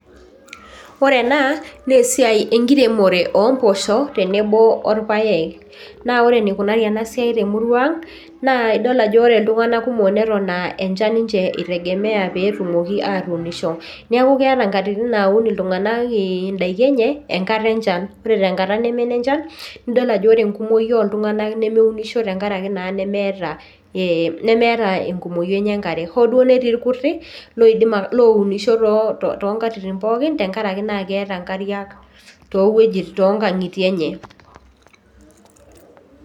Ore ena naa esiai enkiremore ompoosho orpaek naa ore enikunari ena siai temurua ang' naa idol ajo ore iltung'anak kumok neton aa enchan ninche itegemea pee etumoki aatuunisho neeku keeta nkatitin naun iltung'anak indaiki enye enkata enchan ore tenkata neme enenchan nidol ajo ore enkumoi oltung'anak nemeunisho tenkaraki naa nemeeta ee nemeeta enkumoi enye enkare hoo duo netii irkuti lounisho toonkatitin pookin tenkaraki naa keeta nkariak toonkang'itie enye.